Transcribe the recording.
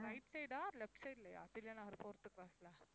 right side ஆ left side லயா Thillai Nagar fourth cross ல